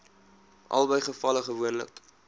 albei gevalle gewoonlik